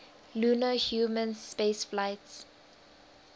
lunar human spaceflights